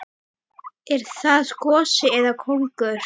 Er það gosi eða kóngur?